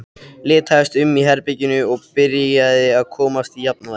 Litaðist um í herberginu og byrjaði að komast í jafnvægi.